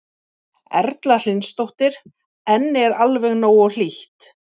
Erla Hlynsdóttir: En er alveg nógu hlýtt?